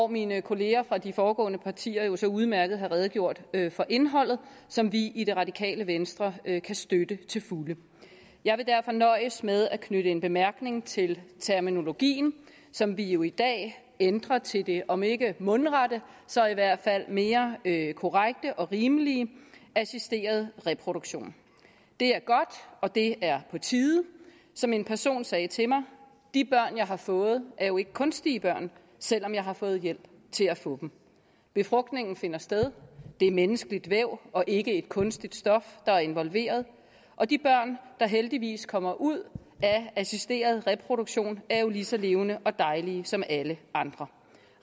mine kolleger fra de foregående partier har jo så udmærket redegjort for indholdet som vi i det radikale venstre kan støtte til fulde jeg vil derfor nøjes med at knytte en bemærkning til terminologien som vi jo i dag ændrer til det om ikke mundrette så i hvert fald mere korrekte og rimelige assisteret reproduktion det er godt og det er på tide som en person sagde til mig de børn jeg har fået er jo ikke kunstige børn selv om jeg har fået hjælp til at få dem befrugtningen finder sted det er menneskeligt væv og ikke et kunstigt stof der er involveret og de børn der heldigvis kommer ud af assisteret reproduktion er jo lige så levende og dejlige som alle andre